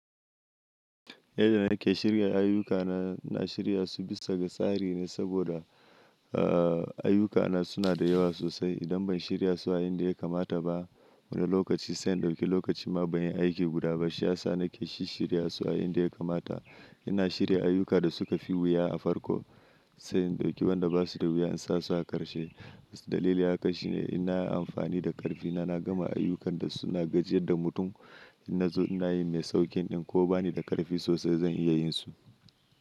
Yadda nake shirya ayyukana, na shirya su bisa ga tsari ne saboda, aa ayyukana suna da yawa sosai idan ban shirya su a inda ya kamata ba. Wani lokaci sai in ɗauki lokaci ma ban yi aiki guda ba. Shi ya sa nake shi shirya su a inda ya kamata. Ina shirya ayyuka da suka fi wuya a farko sai in ɗauki wanda ba su da wuya in sa su a ƙarshe. Wasu dalilai haka shine ina yi amfani da ƙarfina na gama ayyukan da suna gajiyar da mutum in na zo ina yin mai sauƙin ɗin ko ba ni da ƙarfi sosai zan iya yin su.